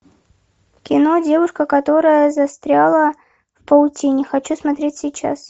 кино девушка которая застряла в паутине хочу смотреть сейчас